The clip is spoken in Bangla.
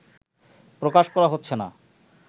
প্রকাশ করা হচ্ছে না